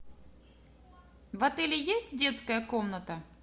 в отеле есть детская комната